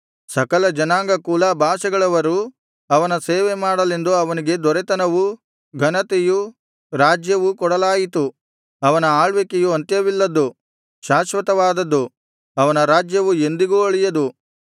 ಸಕಲ ಜನಾಂಗ ಕುಲ ಭಾಷೆಗಳವರು ಅವನ ಸೇವೆ ಮಾಡಲೆಂದು ಅವನಿಗೆ ದೊರೆತನವೂ ಘನತೆಯೂ ರಾಜ್ಯವೂ ಕೊಡಲಾಯಿತು ಅವನ ಆಳ್ವಿಕೆಯು ಅಂತ್ಯವಿಲ್ಲದ್ದು ಶಾಶ್ವತವಾದದ್ದು ಅವನ ರಾಜ್ಯವು ಎಂದಿಗೂ ಅಳಿಯದು